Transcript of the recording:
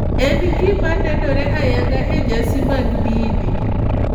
En gima nenore ayanga e nyasi mag dini.